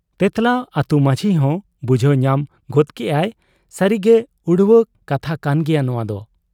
ᱛᱮᱸᱛᱞᱟ ᱟᱹᱛᱩ ᱢᱟᱺᱡᱷᱤᱦᱚᱸ ᱵᱩᱡᱷᱟᱹᱣ ᱧᱟᱢ ᱜᱚᱫ ᱠᱮᱜ ᱟᱭ ᱥᱟᱹᱨᱤᱜᱮ ᱩᱲᱣᱟᱹ ᱠᱟᱛᱷᱟ ᱠᱟᱱ ᱜᱮᱭᱟ ᱱᱚᱶᱟᱫᱚ ᱾